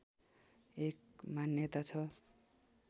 एक मान्यता छ